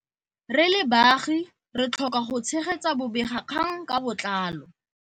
Re le baagi re tlhoka go tshegetsa bobegakgang ka botlalo.